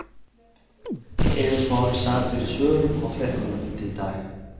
Eiður Smári sat fyrir svörum á fréttamannafundi í dag.